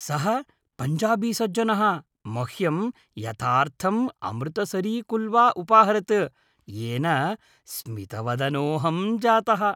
सः पञ्जाबीसज्जनः मह्यं यथार्थम् अमृतसरीकुल्चा उपाहरत्, येन स्मितवदनोहं जातः।